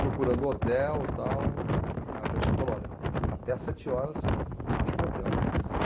procurando hotel tal, e a pessoa falou, olha, até as sete horas, acha um hotel.